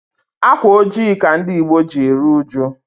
Ákwà ojii ka ndị Ìgbo ji eru uju.